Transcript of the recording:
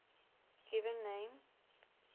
given names